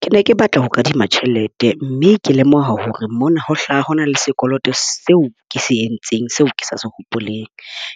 Ke ne ke batla ho kadima tjhelete. Mme ke lemoha hore mona ho hlaha hona le sekoloto seo ke se entseng seo ke sa se hopoleng.